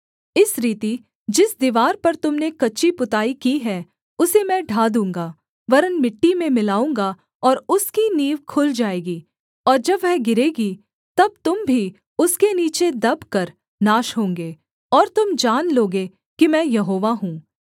इस रीति जिस दीवार पर तुम ने कच्ची पुताई की है उसे मैं ढा दूँगा वरन् मिट्टी में मिलाऊँगा और उसकी नींव खुल जाएगी और जब वह गिरेगी तब तुम भी उसके नीचे दबकर नाश होंगे और तुम जान लोगे कि मैं यहोवा हूँ